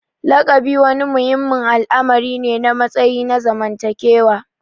Lakabi wani muhimmin al'amari ne na matsayi na zamantakewa.